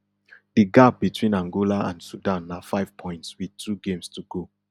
di gap between angola and sudan na five points wit two games to go